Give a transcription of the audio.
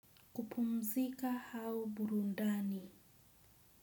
Kupumzika hao burundani?